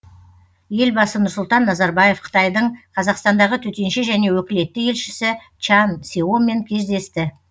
елбасы нұрсұлтан назарбаев қытайдың қазақстандағы төтенше және өкілетті елшісі чан сеомен кездесті